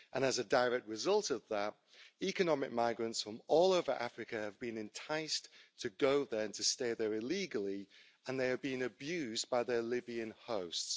And as a direct result of that, economic migrants from all over Africa have been enticed to go there and to stay there illegally, and they have been abused by their Libyan hosts.